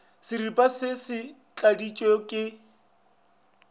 seripa se se tladitšwe ka